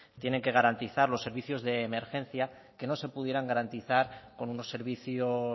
tienen que garantizar los servicios de emergencia que no se pudieran garantizar con unos servicios